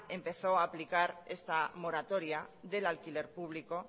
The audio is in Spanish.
empezó a aplicar esta moratoria del alquiler público